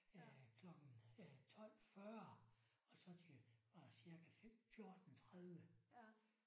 Øh klokken 12 40. Og så til øh cirka 5 14 30